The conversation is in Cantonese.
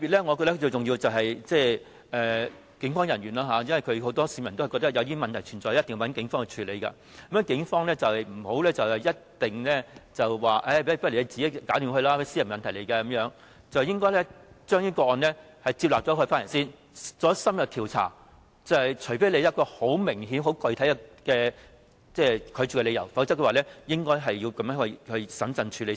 我覺得最重要的是警務人員的做法，因為不少市民都覺得當出現問題時，便一定要報警處理，故警方不能一律以這些屬私人問題為由而要求求助人自行解決，而是應先受理這些個案，然後進行深入調查，除非有明顯及具體的拒絕理由，否則便應該審慎處理才對。